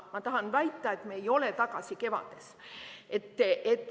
Ma tahan väita, et me ei ole tagasi kevades.